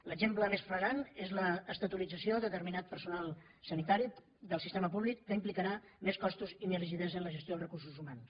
l’exemple més flagrant és l’estatutarització de determinat personal sanitari del sistema públic que implicarà més costos i més rigidesa en la gestió dels recursos humans